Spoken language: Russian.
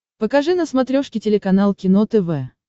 покажи на смотрешке телеканал кино тв